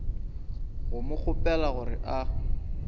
go mo kgopela gore a